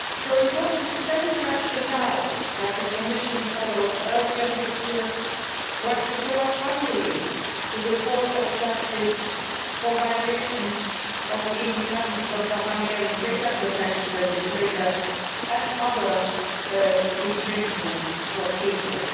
It was the same rationale that the Commission followed earlier this year when we brought Hungary to the Court of Justice for violations of the independence of the Hungarian data protection legislation and other infringement procedures.